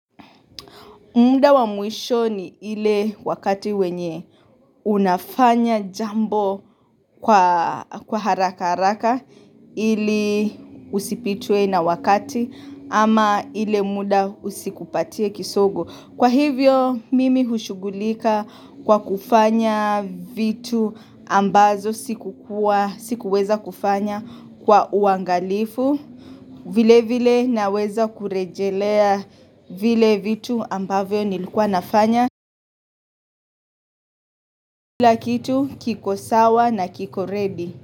Mda wa muishoni ile wakati wenye unafanya jambo kwa haraka haraka ili usipitwe na wakati ama ile mda usikupatie kisogo. Kwa hivyo mimi hushugulika kwa kufanya vitu ambazo sikuweza kufanya kwa uangalifu. Vile vile naweza kurejelea vile vitu ambavyo nilikuwa nafanya kila kitu kiko sawa na kiko ready.